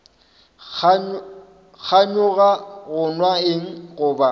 kganyoga go nwa eng goba